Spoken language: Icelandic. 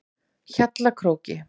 Hjallakróki